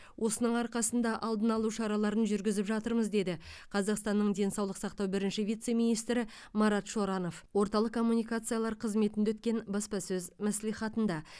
осының арқасында алдын алу шараларын жүргізіп жатырмыз деді қазақстанның денсаулық сақтау бірінші вице министрі марат шоранов орталық коммуникациялар қызметінде өткен баспасөз мәслихатында